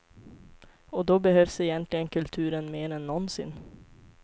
Och då behövs egentligen kulturen mer än någonsin.